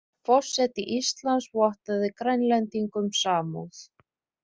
Forseti Íslands vottaði Grænlendingum samúð